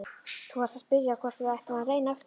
Þú varst að spyrja hvort við ættum að reyna aftur.